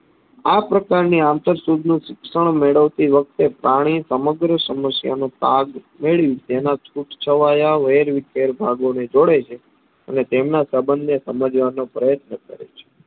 આપ્રકારની આંતર શુદ્ધનું શિક્ષણ મેળવતી વખતે પાણી સમગ્ર સમસ્યાનો પાગમેળવી તેના છૂટ છવાયા વેરવિખેર ભાગોને જોડે છે. અને તેમના સબન્ધને સમજવાનો પ્રયત્ન કરે છે.